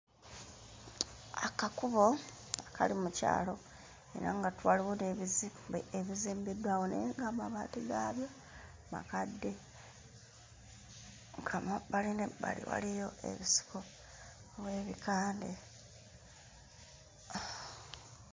Akakubo akali mu kyalo era nga tu waliwo n'ebizimbe ebizimbiddwawo naye nga amabaati gaabyo makadde nga mu bbali n'ebbali waliyo ebisiko oba ekikande.